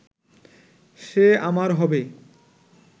সে আমার হবে